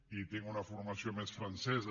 i tinc una formació més francesa